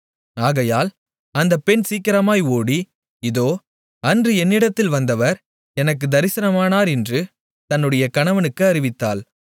ஆகையால் அந்தப் பெண் சீக்கிரமாய் ஓடி இதோ அன்று என்னிடத்தில் வந்தவர் எனக்குத் தரிசனமானார் என்று தன்னுடைய கணவனுக்கு அறிவித்தாள்